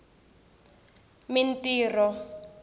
mintirho